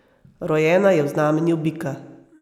Rojena je v znamenju bika.